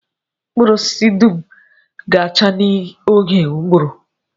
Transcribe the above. Mkpụrụ osisi m dum ga-acha n'oge ụgụrụ